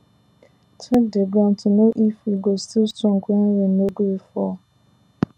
check the ground to know if e go still strong when rain no gree fall